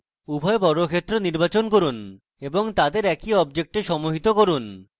উভয় বর্গক্ষেত্র নির্বাচন করুন এবং তাদের একই object সমুহিত করুন